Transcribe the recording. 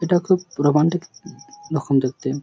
এটা খুব রোমান্টিক রকম দেখতে ।